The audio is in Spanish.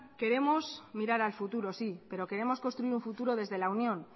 queremos mirar al futuro sí pero queremos construir un futuro desde la unión